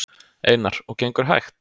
Einar: Og gengur hægt?